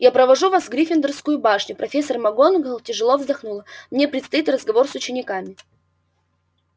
я провожу вас в гриффиндорскую башню профессор макгонагалл тяжело вздохнула мне предстоит разговор с учениками